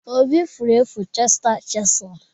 Obi furu efu cheta chisel.